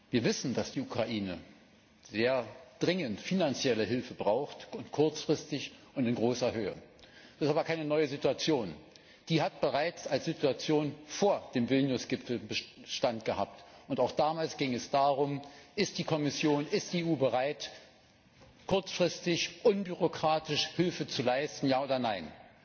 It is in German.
Wir wissen, dass die Ukraine sehr dringend finanzielle Hilfe braucht, kurzfristig und in großer Höhe. Das ist aber keine neue Situation. Die hat bereits als Situation vor dem Vilnius Gipfel Bestand gehabt, und auch damals ging es darum, ob die Kommission, ob die EU bereit ist, kurzfristig unbürokratisch Hilfe zu leisten, ja oder nein?